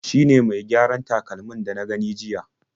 Shi ne mai gyaran takalmin da na gani jiya..